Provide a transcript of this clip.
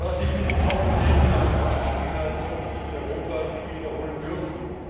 Was sich diesen Sommer in Griechenland abgespielt hat, sollte sich in Europa nie wiederholen dürfen.